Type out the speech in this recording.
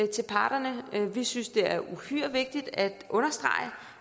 til parterne vi synes det er uhyre vigtigt at understrege